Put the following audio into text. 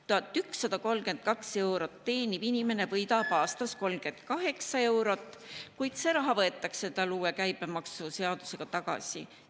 1132 eurot teeniv inimene võidab aastas 38 eurot, kuid see raha võetakse talt uue käibemaksuseadusega tagasi.